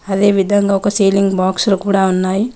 అదేవిధంగా ఒక ceiling box లు కూడా ఉన్నాయి.